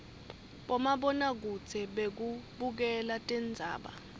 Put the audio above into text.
bomabonakudze bekubukela tindzaba